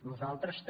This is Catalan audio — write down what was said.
nosaltres també